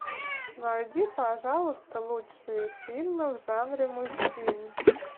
найди пожалуйста лучшие фильмы в жанре мультфильм